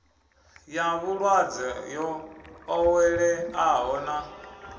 ya vhulwadze yo ḓoweleaho na